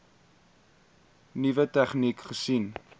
nuwe tegnieke gesien